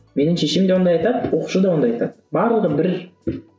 менің шешем де ондай айтады оқушы да ондай айтады барлығы бір